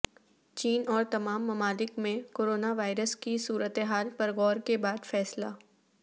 چین اور تمام ممالک میں کورونا وائرس کی صورتحال پر غور کے بعد فیصلہ